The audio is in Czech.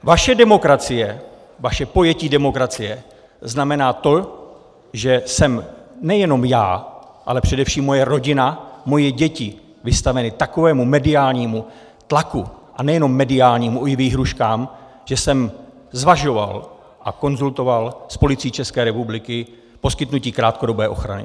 Vaše demokracie, vaše pojetí demokracie znamená to, že jsem nejenom já, ale především moje rodina, moje děti vystaveny takovému mediálnímu tlaku, a nejenom mediálnímu, i výhrůžkám, že jsem zvažoval a konzultoval s Policií České republiky poskytnutí krátkodobé ochrany.